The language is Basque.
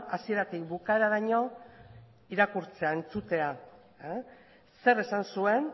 hasieratik bukaeraraino irakurtzea entzutea zer esan zuen